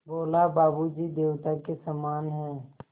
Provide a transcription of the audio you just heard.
बोला बाबू जी देवता के समान हैं